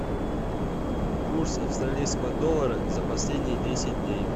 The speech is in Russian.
курс австралийского доллара за последние десять дней